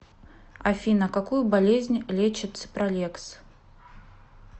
афина какую болезнь лечит ципралекс